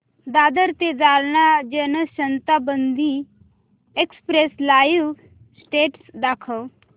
दादर ते Jalna Janshatabdi express live status दाखव